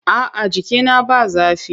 A'a jikina ba zafi.